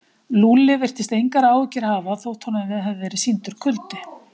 Lúlli virtist engar áhyggjur hafa þótt honum hefði verið sýndur kuldi.